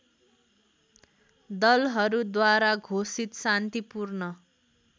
दलहरूद्वारा घोषित शान्तिपूर्ण